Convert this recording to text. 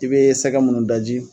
I be sɛkɛ munnu daji.